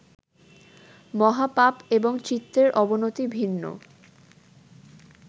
মহাপাপ এবং চিত্তের অবনতি ভিন্ন